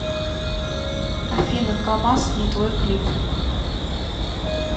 афина камаз не твой клип